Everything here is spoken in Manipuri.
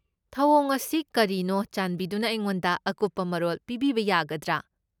ꯊꯧꯑꯣꯡ ꯑꯁꯤ ꯀꯔꯤꯅꯣ, ꯆꯥꯟꯕꯤꯗꯨꯅ ꯑꯩꯉꯣꯟꯗ ꯑꯀꯨꯞꯄ ꯃꯔꯣꯜ ꯄꯤꯕꯤꯕ ꯌꯥꯒꯗ꯭ꯔꯥ?